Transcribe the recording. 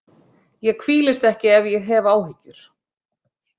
Ég hvílist ekki ef ég hef áhyggjur.